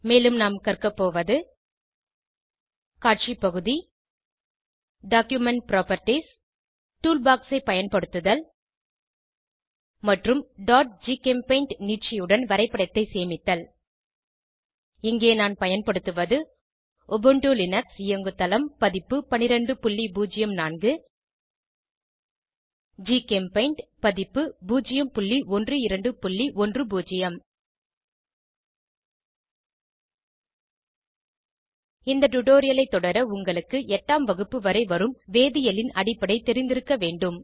மேலும் நாம் கற்கபோவது காட்சி பகுதி டாக்குமென்ட் புராப்பர்ட்டீஸ் ஆவணத்தின் பண்புகள் டூல் பாக்ஸ் ஐ பயன்படுத்துதல் மற்றும் ஜிகெம்பெய்ண்ட் நீட்சியுடன் வரைப்படத்தை சேமித்தல் இங்கே நான் பயன்படுத்துவது உபுண்டு லினக்ஸ் இயங்குதளம் பதிப்பு 1204 ஜிகெம்பெய்ண்ட் பதிப்பு 01210 இந்த டுடோரியலைத் தொடர உங்களுக்கு எட்டாம் வகுப்பு வரை வரும் வேதியியலின் அடிப்படை தெரிந்திருக்க வேண்டும்